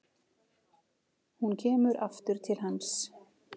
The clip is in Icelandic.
Hún kemur aftur til hans.